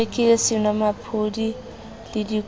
t o rekile senomaphodi ledikuku